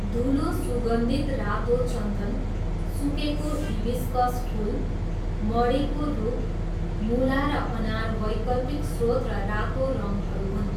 धुलो सुगन्धित रातो चन्दन, सुकेको हिबिस्कस फुल, मडीको रुख, मुला र अनार वैकल्पिक स्रोत र रातो रङहरू हुन्।